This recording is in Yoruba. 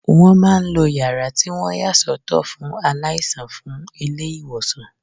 Wọ́n máa n lo yàrá tí wọ́n yà sọ́tọ̀ fún aláìsàn fún ilé-ìwòsàn